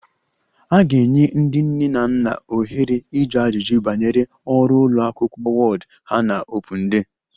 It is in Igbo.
A ga-enye ndị nne na nna ohere ịjụ ajụjụ banyere ọrụ ụlọ akwụkwọ ward ha na Open day